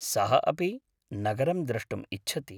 सः अपि नगरं द्रष्टुम् इच्छति।